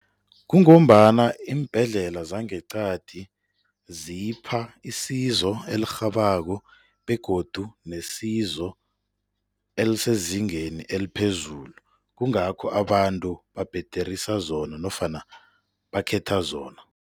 Kungombana iimbhedlela zangeqadi zipha isizo elirhabako begodu besizo elisezingeni eliphezulu, kungakho abantu babhederisa zona nofana bakhetha zona.